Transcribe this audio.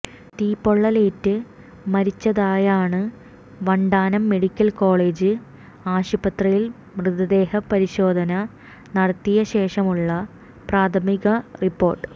തീപ്പൊള്ളലേറ്റ് മരിച്ചതായാണ് Vandanam medical college ആശുപത്രിയിൽ മൃതദേഹ പരിശോധന നടത്തിയ ശേഷമുള്ള പ്രാഥമിക റിപ്പോർട്ട്